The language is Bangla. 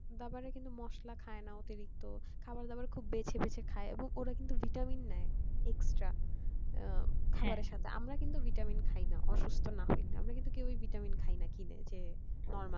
তার পরে কিন্তু মসলা খাইনা অতিরিক্ত খাবার দাবার খুব বেঁচে বেঁচে খাই ওরা কিন্তু খুব vitamin নেয় extra খাবারের সাথে আমরা কিন্তু vitamin খাইনা অসুস্থ না হইলে আমরা কিন্তু কেউই vitamin খাইনা কিনে যে normal